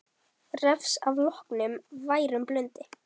Refs að loknum værum blundi.